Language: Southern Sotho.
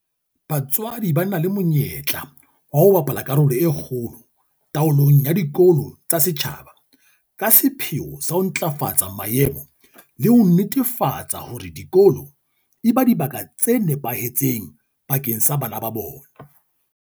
BaTswaDI ba na le monyetla wa ho bapala karolo e kgolo taolong ya dikolo tsa setjhaba ka sepheo sa ho ntlafatsa maemo le ho netefatsa hore dikolo eba dibaka tse nepahetseng bakeng sa bana ba bona.